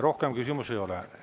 Rohkem küsimusi ei ole.